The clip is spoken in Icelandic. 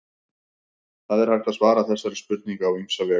það er hægt að svara þessari spurningu á ýmsa vegu